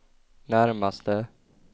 närmaste